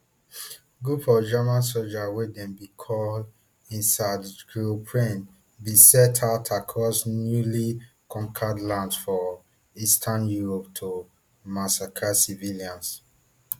groups of german sojas wey dem bin call einsatzgruppen bin set out across newly conquered lands for eastern europe to massacre civilians